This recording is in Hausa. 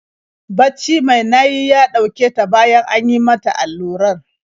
Bacci mai nayi ya ɗauke ta bayan an yi mata allurar.